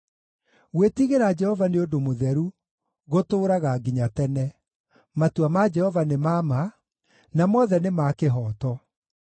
Gwĩtigĩra Jehova nĩ ũndũ mũtheru, gũtũũraga nginya tene. Matua ma Jehova nĩ ma ma, na mothe nĩ ma kĩhooto.